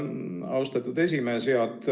Austatud esimees!